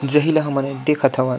जहि ला हमन ह देखत हवन।